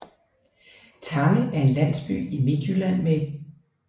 Tange er en landsby i Midtjylland med